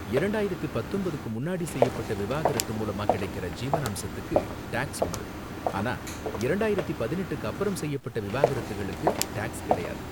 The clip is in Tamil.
இரண்டாயிரத்தி பத்தொன்பதுக்கு முன்னாடி செய்யப்பட்ட விவாகரத்து மூலமா கிடைக்கற ஜீவனாம்சத்துக்கு டாக்ஸ் உண்டு, ஆனா இரண்டாயிரத்தி பதினெட்டுக்கு அப்பறம் செய்யப்பட்ட விவாகரத்துகளுக்கு டாக்ஸ் கிடையாது.